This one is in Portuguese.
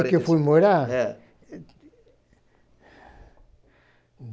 quarenta. Onde que eu fui morar? É